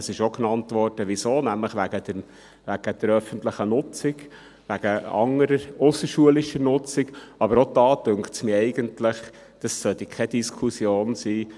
Es wurde auch gesagt wieso – nämlich wegen der öffentlichen Nutzung, wegen anderer ausserschulischer Nutzung, aber auch da scheint es mir, sollte es eigentlich keine Diskussion sein.